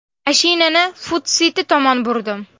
Mashinani FudSiti tomon burdim.